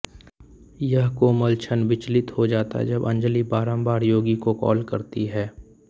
यह कोमल क्षण विचलित हो जाता है जब अंजलि बारंबार योगी को कॉल करती है